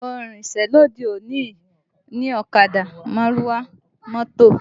Àwọn ohun ìrìnsẹ̀ òde òní ni ọ̀kadà, márúwá, mọ́tò